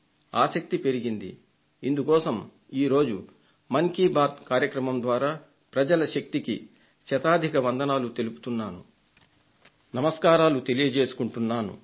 ఆసక్తి పెరిగింది ఇందుకోసం ఈ రోజు మన్ కీ బాత్ కార్యక్రమం ద్వారా ప్రజల శక్తికి శతాధిక వందనాలు తెలియజేసుకుంటున్నాను